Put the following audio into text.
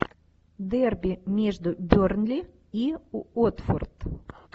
дерби между бернли и уотфорд